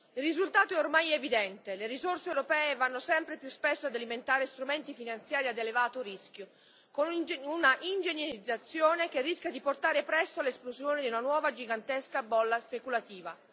Il risultato è ormai evidente le risorse europee vanno sempre più spesso ad alimentare strumenti finanziari ad elevato rischio, con una ingegnerizzazione che rischia di portare presto all'esplosione di una nuova gigantesca bolla speculativa.